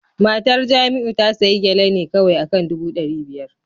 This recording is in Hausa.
Matar Jamiu ta sayi Gele ne kawai akan dubu dari biyar